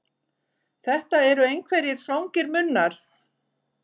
Þetta eru einhverjir svangir munnar.